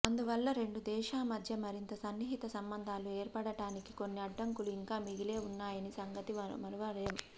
అందువల్ల రెండు దేశామధ్య మరింత సన్నిహిత సంబంధాలు ఏర్పడటానికి కొన్ని అడ్డంకులు ఇంకా మిగిలే ఉన్నాయన్న సంగతి మరువలేం